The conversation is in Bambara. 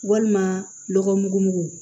Walima lɔgɔ mugumugu